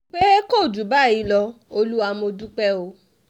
pé kò jù báyìí lọ olúwa mọ dúpẹ́ o